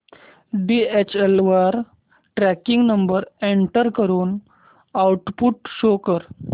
DHL वर tracking number enter करून output show कर